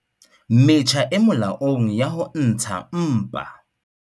Metjha e molaong ya ho ntsha mpa